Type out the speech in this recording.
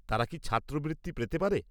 তারা কি ছাত্রবৃত্তি পেতে পারে?